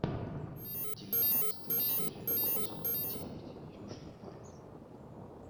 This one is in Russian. девятнадцатая серия сезона девять южный парк